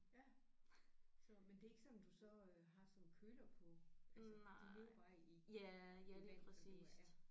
Ja så men det er ikke sådan du så øh har sådan en køler på altså de lever bare i i det vand der nu er